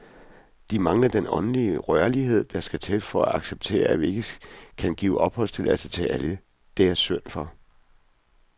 De mangler den åndelige rørlighed, der skal til for at acceptere, at vi ikke kan give opholdstilladelse til alle, det er synd for.